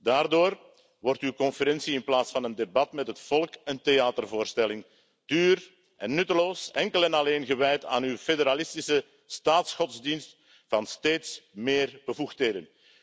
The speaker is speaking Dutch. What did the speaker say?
Daardoor wordt uw conferentie in plaats van een debat met het volk een theatervoorstelling, duur en nutteloos, enkel en alleen gewijd aan uw federalistische staatsgodsdienst van steeds meer bevoegdheden.